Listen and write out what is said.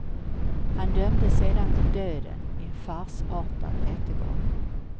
Han dömdes sedan till döden i en farsartad rättegång.